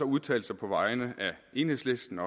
udtalt sig på vegne af enhedslisten